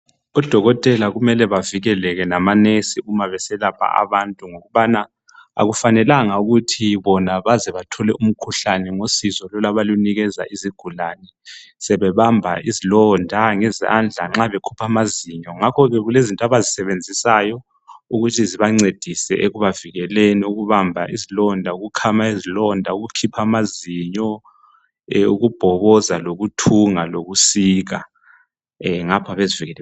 Odokotela kumele bavikele lamanesi uma beselapha abantu ngokubana akufanelanga ukuthi bona baze bathole umkhuhlane ngosizo abalunikeza izigulane, sebebamba izilonda ngezandla, nxa bekhipha amazinyo. Ngakhoke kulezinto abayisebenzisayo ukuthi zibancedise ekubavikeleni ukubamba izilonda, ukukhama izilonda, ukukhipha amazinyo, ukubhoboza lokuthunga lokusika, ngapha bezivikele.